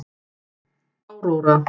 Áróra